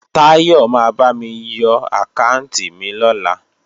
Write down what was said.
Táyọ̀ ma bámi yọ àkáànti mi lọ́la